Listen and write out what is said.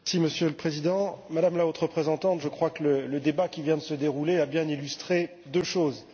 Monsieur le Président, Madame la Haute Représentante, je crois que le débat qui vient de se dérouler a bien illustré deux choses.